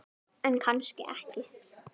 En kannski ekki.